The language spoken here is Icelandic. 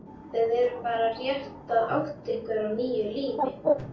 Þið eruð bara rétt að átta ykkur á nýju lífi.